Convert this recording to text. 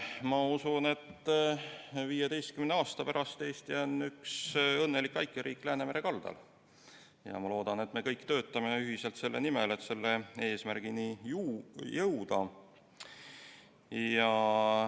Ma usun, et 15 aasta pärast on Eesti üks õnnelik väikeriik Läänemere kaldal, ja ma loodan, et me kõik ühiselt töötame selle nimel, et selle eesmärgini jõuda.